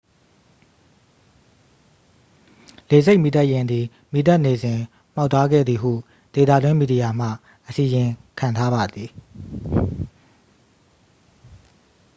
လေဆိပ်မီးသတ်ယာဉ်သည် မီးသတ်နေစဉ် မှောက်သွားခဲ့သည်ဟု ဒေသတွင်းမီဒီယာမှ အစီရင်ခံထားပါသည်